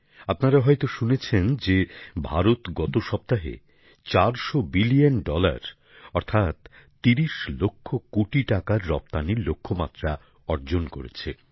আপনারা হয়ত শুনেছেন যে ভারত গত সপ্তাহে চারশো বিলিয়ন ডলার অর্থাৎ ৩০ লক্ষ কোটি টাকার রপ্তানীর লক্ষ্যমাত্রা অর্জন করেছে